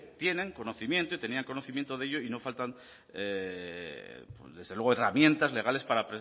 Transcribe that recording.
tienen conocimiento y tenían conocimiento de ello y no faltan herramientas legales para